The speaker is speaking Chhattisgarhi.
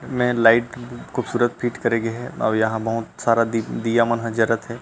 में लाइट खूबसूरत फिट करे गे हे अऊ यहाँ बहुत सारा दिया मन ह जरत हे।